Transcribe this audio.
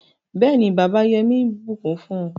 béèni bàbà Yemi bukún fún